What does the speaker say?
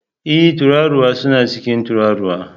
Ee! Tururuwa suna cin tururuwa